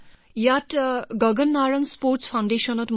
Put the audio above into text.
তাত gun for glory শীৰ্ষক Gagan Narang sports foundation আছে